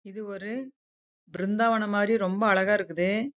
இது வந்து ஒரு பிருந்தா வனம் மாறி அழகா இருக்குது